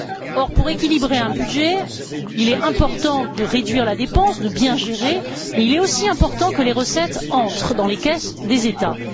Or, pour équilibrer un budget, il est important de réduire la dépense, de bien gérer, mais il est aussi important que les recettes entrent dans les caisses des États.